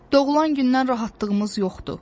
Doğulan gündən rahatlığımız yoxdur.